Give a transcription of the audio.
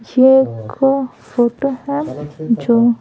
ये एक फोटो है जो --